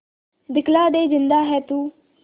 दिखला दे जिंदा है तू